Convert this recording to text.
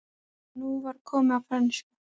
Og nú var komið að frönsku!